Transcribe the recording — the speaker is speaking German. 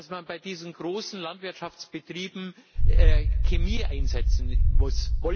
Dass man bei diesen großen Landwirtschaftsbetrieben Chemie einsetzen muss.